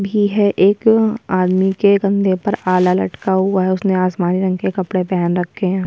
भी है एक आदमी के कंधे पर आला लटका हुआ है उसने आसमानी रंग के कपडे पेहेन रक्खे हैं।